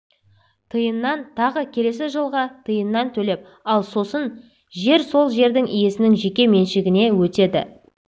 тиыннан тағы келесі жылға тиыннан төлеп ал сосын жер сол жердің иесінің жеке меншігіне өтеді